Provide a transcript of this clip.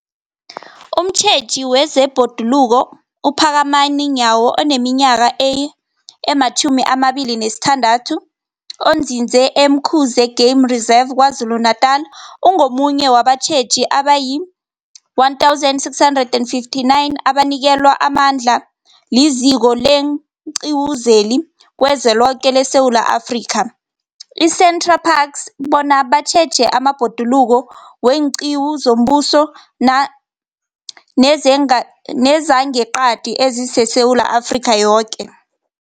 Umtjheji wezeBhoduluko uPhakamani Nyawo oneminyaka ema-26, onzinze e-Umkhuze Game Reserve KwaZulu-Natala, ungomunye wabatjheji abayi-1 659 abanikelwe amandla liZiko leenQiwu zeliZweloke leSewula Afrika, i-SANParks, bona batjheje amabhoduluko weenqiwu zombuso na, nezenga, nezangeqadi ezingeSewula Afrika yoke.